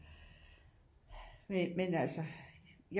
Men men altså